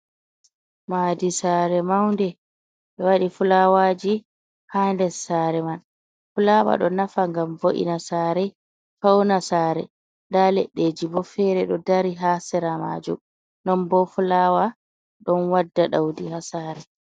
Madi sare maunde be wadi fulawaji ha des sare man fulawa do nafa ngam vo’ina sare fauna sare da leddeji bo fere do dari ha sira maju non bo fulawa don wadda daudi ha sare.